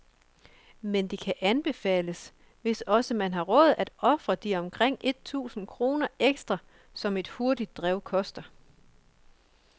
Men det kan anbefales, hvis altså man har råd, at ofre de omkring et tusind kroner ekstra, som et hurtigere drev koster.